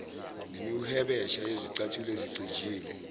nemihwebesha yezicathulo ezicijile